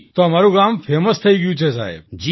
તો અમારું ગામ ફેમસ થઈ ગયું સાહેબ